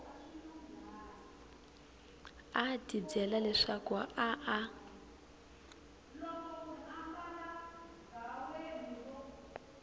a tibyela leswaku a a